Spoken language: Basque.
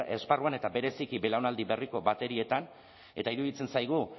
esparruan eta bereziki belaunaldi berriko baterietan eta iruditzen zaigu